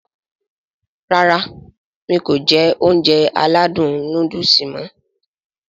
Rárá mi kò jẹ Ounjẹ aládùn nóódùsì mọ̀